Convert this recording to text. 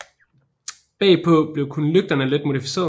Bagpå blev kun lygterne let modificeret